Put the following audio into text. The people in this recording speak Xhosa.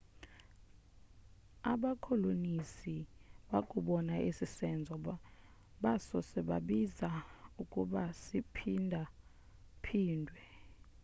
abakolonisi bakubona esi senzo basose babiza ukuba siphinda phindwe